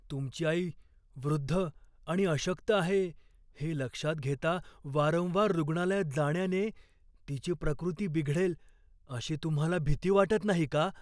तुमची आई वृद्ध आणि अशक्त आहे हे लक्षात घेता, वारंवार रुग्णालयात जाण्याने तिची प्रकृती बिघडेल अशी तुम्हाला भीती वाटत नाही का?